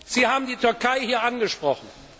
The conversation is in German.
Sie haben die Türkei hier angesprochen.